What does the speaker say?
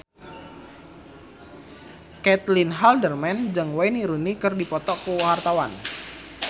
Caitlin Halderman jeung Wayne Rooney keur dipoto ku wartawan